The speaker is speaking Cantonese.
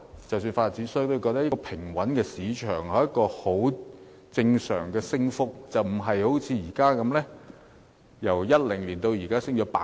即使發展商都認為，平穩的市場應該有正常升幅，但也不應像現時的情況般。